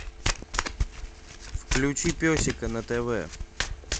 включи песика на тв